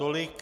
Tolik...